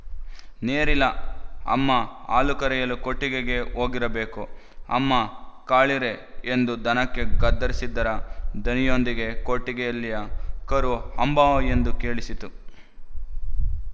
ನೇರಿಲ ಅಮ್ಮ ಹಾಲು ಕರೆಯಲು ಕೊಟ್ಟಿಗೆಗೆ ಹೋಗಿರಬೇಕು ಅಮ್ಮ ಕಾಳೀೀ ಎಂದು ದನಕ್ಕೆ ಗದರಿಸಿದ್ದರ ದನಿಯೊಂದಿಗೆ ಕೊಟ್ಟಿಗೆಯಲ್ಲಿಯ ಕರು ಅಂಬಾ ಎಂದು ಕೇಳಿಸಿತು